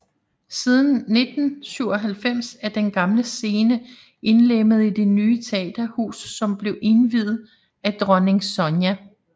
Siden 1997 er den gamle scenen indlemmet i det nye teaterhus som blev indviet af Dronning Sonja